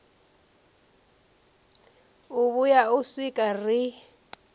u vhuya u swika ri